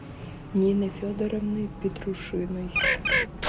нины федоровны петрушиной